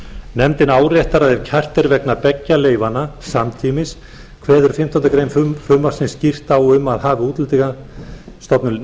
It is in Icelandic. nefndin áréttar að ef kært er vegna beggja leyfanna samtímis kveður fimmtándu greinar frumvarpsins skýrt á um að hafi útlendingastofnun